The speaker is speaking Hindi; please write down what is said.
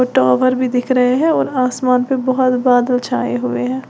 वो टॉवर भी दिख रहे हैं और आसमान पे बोहोत बादल छाए हुए हैं।